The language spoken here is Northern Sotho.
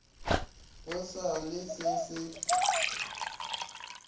go sa le se se